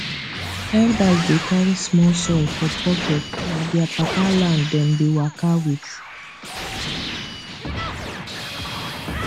elders dey carry small soil for pocket na their papa land dem dey waka with